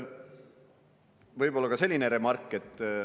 Siis veel selline remark.